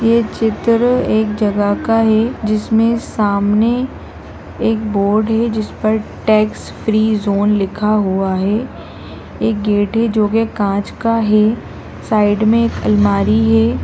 ये चित्र एक जगह का है जिसमें सामने एक बोर्ड है जिस पर टैक्स फ्री ज़ोन लिखा हुआ है एक गेट है जो कि कांच का है साइड में एक अलमारी है।